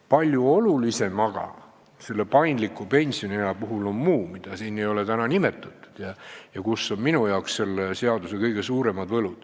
Palju olulisem paindliku pensioniea puhul on aga muu, mida siin ei ole täna nimetatud ja mis on minu jaoks selle seaduseelnõu kõige suurem võlu.